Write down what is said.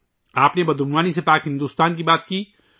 آپ نے corruption free India کی بات کی